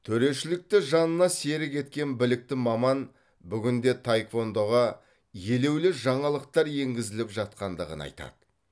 төрешілікті жанына серік еткен білікті маман бүгінде таеквондоға елеулі жаңалықтар енгізіліп жатқандығын айтады